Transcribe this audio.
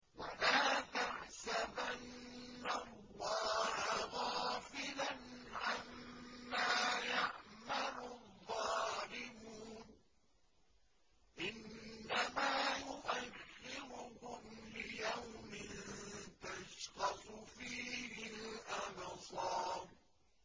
وَلَا تَحْسَبَنَّ اللَّهَ غَافِلًا عَمَّا يَعْمَلُ الظَّالِمُونَ ۚ إِنَّمَا يُؤَخِّرُهُمْ لِيَوْمٍ تَشْخَصُ فِيهِ الْأَبْصَارُ